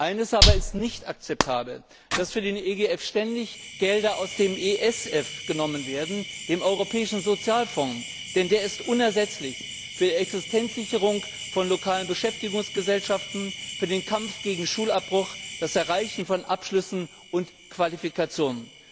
Eines aber ist nicht akzeptabel dass für den EGF ständig Gelder aus dem ESF genommen werden, dem Europäischen Sozialfonds, denn der ist unersetzlich für die Existenzsicherung von lokalen Beschäftigungsgesellschaften, für den Kampf gegen Schulabbruch, das Erreichen von Abschlüssen und Qualifikationen.